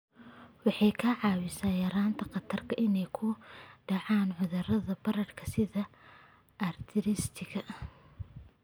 Waxay kaa caawinaysaa yaraynta khatarta ah inay ku dhacaan cudurrada bararka sida arthritis-ka.